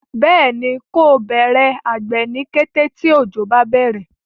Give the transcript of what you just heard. béèni ko Bẹrẹ àgbè ní kété tí ojo bá bẹrẹ.